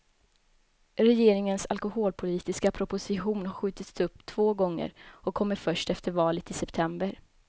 Regeringens alkoholpolitiska proposition har skjutits upp två gånger och kommer först efter valet i september.